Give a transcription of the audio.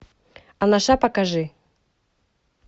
анаша покажи